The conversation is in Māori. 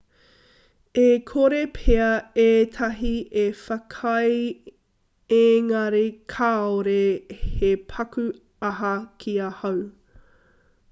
e kore pea ētahi e whakaae engari kāore he paku aha ki ahau